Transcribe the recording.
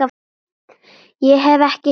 Ég hef ekki heyrt neitt.